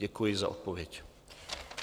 Děkuji za odpověď.